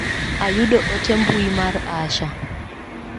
Ayudo ote mbui mar Asha.